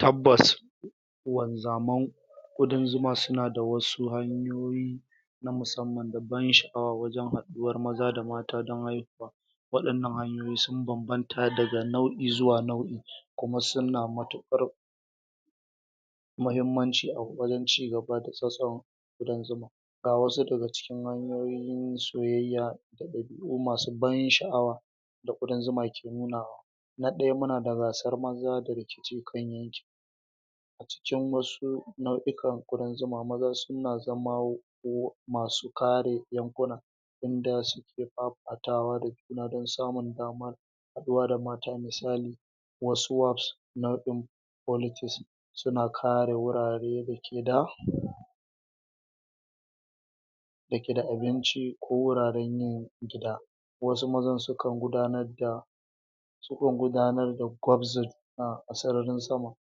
tabbas wanzaman ƙudan zuma suna da wasu hanyoyi na musaman da ban sha'awa wajan haduwar maza da mata don haihuwa waɗannan hanyoyi sun bambanta daga nau'i zuwa nau'i kuma suna matuƙar mahimmanci a wajen cigaba da tsatson ƙudan zuma ga wasu daga cikin hanyoyin soyayya da ɗabi'u masu ban sha'awa da ƙudan zuma ke nunawa na ɗaya muna da gasar maza daga jiƙan yanki cikin wasu nau'ikan ƙudan zuma mazan suna zama masu kare yankuna inda suke fafatawa da juna don samun damar haɗuwa da mata misali wasu wafs nau'in politics suna kare wurare da ke da da ke da abinci ko wuraren yin gida wasu mazan sukan gudanar da sukan gudanar da gwabza juna a sararin sama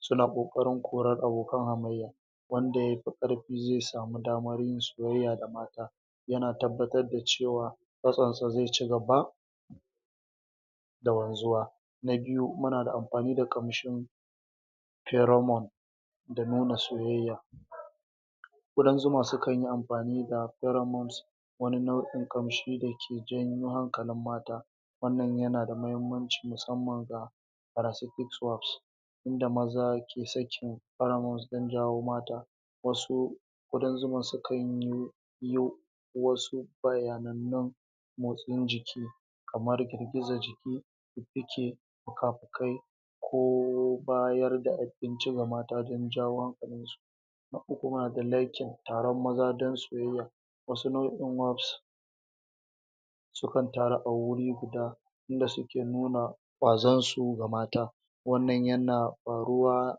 suna ƙoƙarin korar abokan hamayya wanda yafi ƙarfi zai samu damar yin soyayya da mata yana tabbatar da cewa tsatsonsa zai cigaba da wanzuwa na biyu muna amfani da ƙamshin teramon da nuna soyayya ƙudan zuma sukan yi amfani da teramons wani nau'in ƙamshi da ke janyo hankalin mata wannan yana da muhimmanci musamman ga parasific wars inda maza ke sakin paramons don jawo mata wasu ƙudan zuman sukan yi yo wasu bayanannun motsin jiki kamar girgiza jiki da ke fukafukai ko bayar da abinci ga mata don jawo hankalinsu na uku kuma da legge taron maza don soyayya wasu nau'in warbs sukan taru a wuri guda inda suke nuna ƙwazonsu ga mata wannan yana faruwa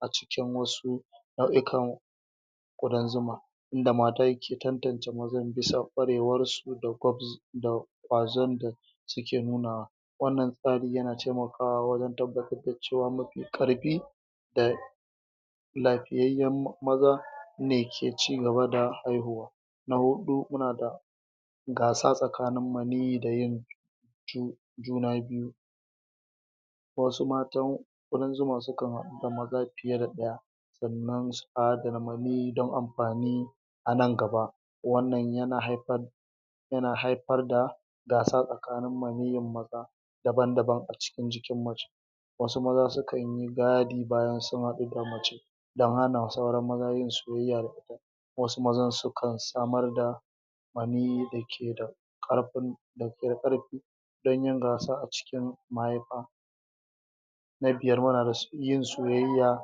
a cikin wasu nau'ikan ƙudan zuma inda mata ke tantance mazan bisa ƙwarewarsu da gwabza da ƙwazon da suke nunawa wannan tsari yana taimakawa wajen tabbatar da cewa mafi ƙarfi da lafiyayyen maza ne ke cigaba da haihuwa na huɗu muna da gasa tsakanin maniyyi da yin ju juna biyu wasu matan ƙudan zuma sukan haɗu da maza fiye da ɗaya wannan tsarin maniyyi don amfani a nan gaba wannan yana haifar yana haifar da gasa tsakanin maniyyin maza daban-daban a cikin jikin mace wasu maza sukan yin gadi bayan sun haɗu da mace don hana sauran maza yin soyayya wasu mazan sukan samar da maniyyi da ke da ƙarfin da ke ƙarfi don yin gasa a cikin mahaifa na biyar, muna da yin soyayya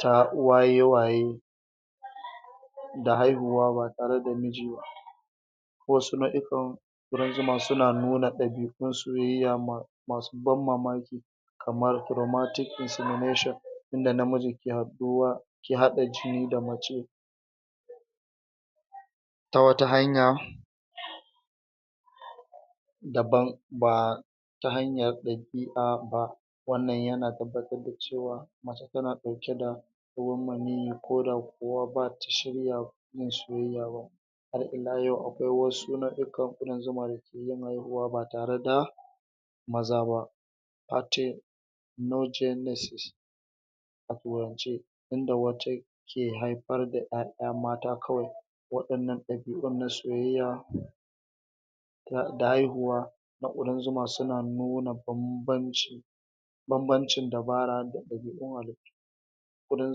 ta waye-waye da haihuwa ba tare da miji ba wasu nau'ikan ƙudan zuma suna nuna ɗabi'un soyayya ma mau ban mamaki kamar romantic insimination inda namiji ke haɗuwa ke haɗa jini da mace ta wata hanya daban ba ta hanyar ɗabi'a ba wannan yana tabbatar da cewa mace tana ɗauke da ruwan maniyyi koda kuwa bata shirya yin soyayya ba har ila yau akwai wasu nau'ikan ƙudan zuma da ke yin haihuwa ba tare da maza ba low genesis a turance inda wata ke haifar da ƴaƴa mata kawai waɗannan ɗabi'un na soyayya da da haihuwa na ƙudan zuma suna nuna bambanci bambancin dabara da ɗabi'un halittu ƙudan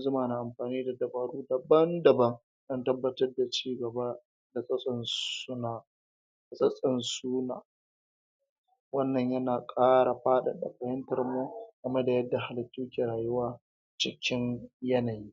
zuma na amfani da dabaru daban-daban don tabbatar da cigaba da tsatson suna tsatson su na wannan yana ƙara faɗaɗa fahimtarmu game da yadda halittu ke rayuwa cikin yanayi